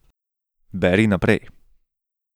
Beri naprej.